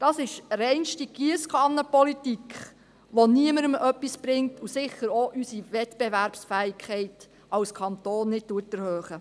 Das ist reinste Giesskannenpolitik, die niemandem etwas bringt und sicher auch unsere Wettbewerbsfähigkeit als Kanton nicht erhöht.